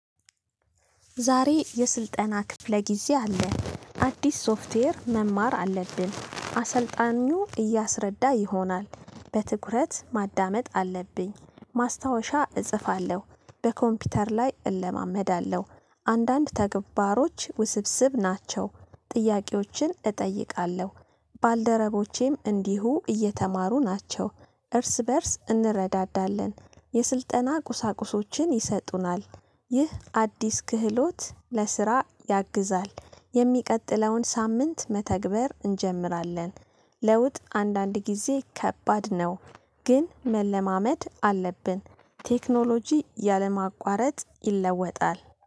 ዛሬ የስልጠና ክፍለ ጊዜ አለ አዲስ ሶፍትዌር መማር አለብን። አሰልጣኙ እያስረዳ ይሆናል። በትኩረት ማዳመጥ አለብኝ። ማስታወሻ እጽፋለሁ። በኮምፒውተር ላይ እለማመዳለሁ። አንዳንድ ተግባሮች ውስብስብ ናቸው። ጥያቄዎችን እጠይቃለሁ። ባልደረቦቼም እንዲሁ እየተማሩ ናቸው። እርስ በእርስ እንረዳዳለን። የስልጠና ቁሳቁሶችን ይሰጡናል። ይህ አዲስ ክህሎት ለስራ ያግዛል። የሚቀጥለውን ሳምንት መተግበር እንጀምራለን። ለውጥ አንዳንድ ጊዜ ከባድ ነው። ግን መለማመድ አለብን። ቴክኖሎጂ ያለ ማቋረጥ ይለወጣል